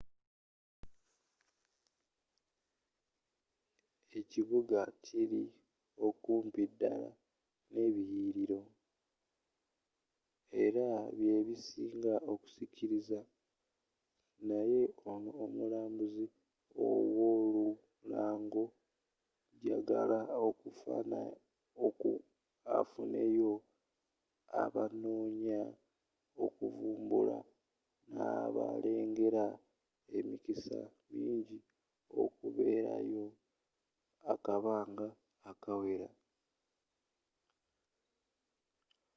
ekibuga kili okumpi dala nebiliyililo era byebisinga okusikiriza naye ono omulambuzi ow'olulango jalaga afunayo abanoonya okuvumbula n'abalengera emikisa mingi okubeerayo akabanga akawera